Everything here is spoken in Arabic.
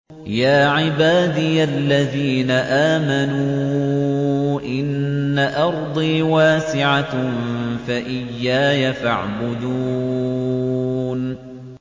يَا عِبَادِيَ الَّذِينَ آمَنُوا إِنَّ أَرْضِي وَاسِعَةٌ فَإِيَّايَ فَاعْبُدُونِ